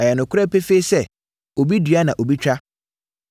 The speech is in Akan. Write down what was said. Ɛyɛ nokorɛ pefee sɛ, ‘Obi dua na obi twa.’